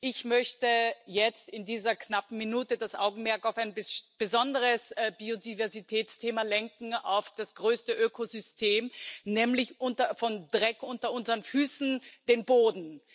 Ich möchte jetzt in dieser knappen Minute das Augenmerk auf ein besonderes Biodiversitätsthema lenken, auf das größte Ökosystem, nämlich den Dreck unter unseren Füßen, den Boden.